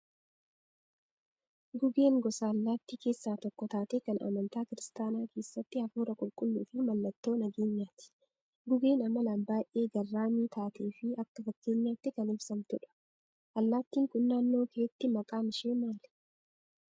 Gugeen gosa allaattii keessaa tokko taatee kan amantaa kiristaanaa keessatti hafuura qulqulluu fi maallattoo nageenyaati. Gugeen amalaan baay'ee garraamii taatee fi akka fakkeenyaatti kan ibsamtudha. Allaattiin kun naannoo keetti maqaan ishee maali?